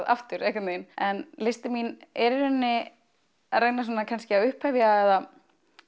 aftur einhvern veginn en listin mín er í rauninni að reyna svona kannski að upphefja eða